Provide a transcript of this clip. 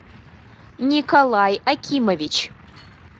николай акимович